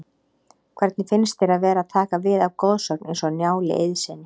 Hvernig finnst þér að vera að taka við af goðsögn eins og Njáli Eiðssyni?